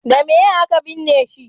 da meye a ka binne shi